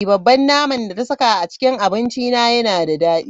Babban naman da ta saka a cikin abincina yana da dadi.